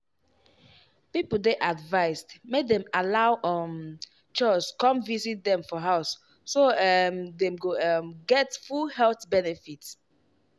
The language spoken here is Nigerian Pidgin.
people dey advised make dem allow um chws come visit dem for house so um dem go um get full health benefit.